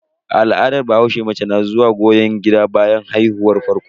A al'adar bahaushe, mace na zuwa goyon gida bayan haihuwar farko.